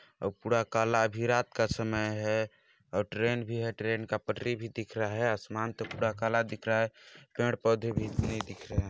और पूरा काला आधी रात का समय है और ट्रेन भी है ट्रेन का पटरी भी दिख रहा है आसमान तो पूरा काला दिख रहा है पेड़ पौधे भी नहीं दिख रहे हैं।